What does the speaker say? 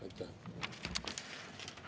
Aitäh!